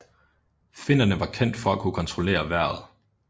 Finnerne var kendt for at kunne kontrollere vejret